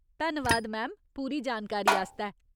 धन्नवाद मैम, पूरी जानकारी आस्तै।